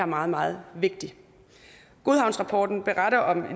meget meget vigtig godhavnsrapporten beretter om